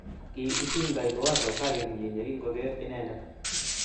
ki itingtoi Liwazo karitnyin yekingogeer inendet